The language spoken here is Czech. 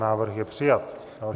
Návrh je přijat.